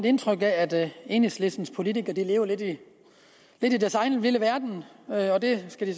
indtryk af at enhedslistens politikere lever lidt i deres egen lille verden og det skal de